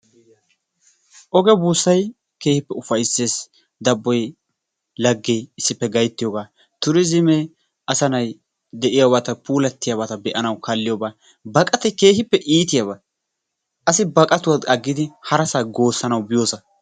Oge buussay keehippe ufayisses. Dabboy, laggee issippe gayittiyoga turiizimee asanay de'iyaabata puulattiyabata be'anaw kaalliyoba. Baqatay keehippe iitiyaaba asi baqatuwa aggidi harasa goosanaw biyoosa.